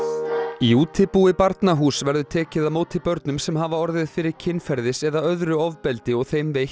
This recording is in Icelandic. í útibúi Barnahúss verður tekið á móti börnum sem hafa orðið fyrir kynferðis eða öðru ofbeldi og þeim veitt